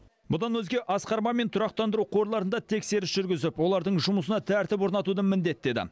бұдан өзге асқар мамин тұрақтандыру қорларында тексеріс жүргізіп олардың жұмысына тәртіп орнатуды міндеттеді